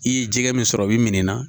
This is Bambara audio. I ye jɛgɛ min sɔrɔ i bi min na